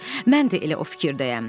Mən də elə o fikirdəyəm.